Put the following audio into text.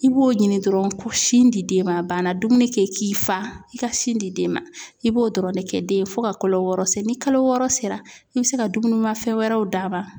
I b'o ɲini dɔrɔn sin di den ma a banna dumuni kɛ i k'i fa i ka sin di den ma i b'o dɔrɔn de kɛ den ye fo ka kalo wɔɔrɔ se ni kalo wɔɔrɔ sera i bɛ se ka dumuni mafɛn wɛrɛw d'a ma.